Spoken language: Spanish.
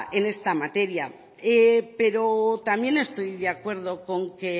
en esta materia pero también estoy de acuerdo con que